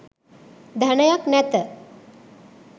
ධනයක් නැත